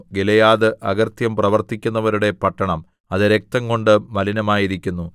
Gilead അകൃത്യം പ്രവർത്തിക്കുന്നവരുടെ പട്ടണം അത് രക്തംകൊണ്ട് മലിനമായിരിക്കുന്നു